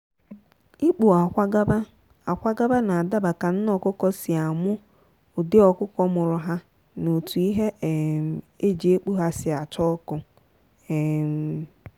ikpu akwa gaba akwa gaba n'adaba ka nne ọkụkọ si amụ ụdị ọkụkọ mụrụ ha na etu ihe um eji ekpu ha si acha ọkụ. um